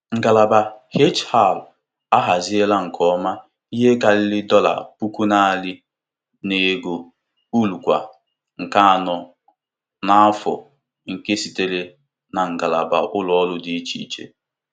Ngalaba HR ahaziela nke ọma ihe karịrị dọla puku narị na-ego uru kwa nkeji anọ n'afọ nke sitere na ngalaba ụlọ ọrụ dị iche iche.